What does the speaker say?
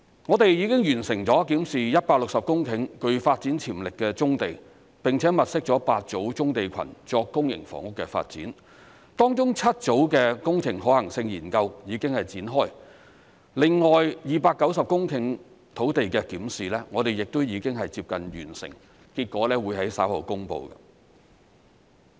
我們已經完成了檢視160公頃具發展潛力的棕地，並且物色了8組棕地群作公營房屋的發展，當中7組的工程可行性研究已經展開；另外290公頃土地的檢視我們亦已接近完成，結果會在稍後公布。